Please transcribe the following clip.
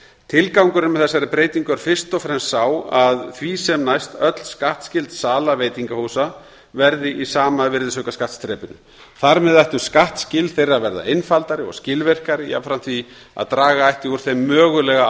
tilgangurinn með þessari breytingu er fyrst og fremst sá að því sem næst öll skattskyld sala veitingahúsa verði í sama virðisaukaskattsþrepinu þar með ættu skattskil þeirra að verða einfaldari og skilvirkari jafnframt því að draga ætti úr þeim mögulega